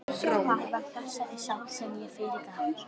Það var þessari sál sem ég fyrirgaf.